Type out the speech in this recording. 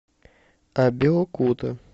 абеокута